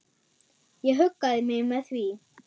Ég huggaði mig með því.